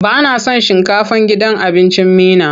Ba na son shinkafar gidan abincin Meena.